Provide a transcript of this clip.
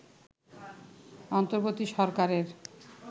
অন্তর্বর্তী সরকারের